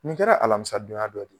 Ni kɛla alamisa donya dɔ de